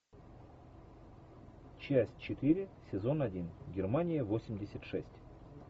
часть четыре сезон один германия восемьдесят шесть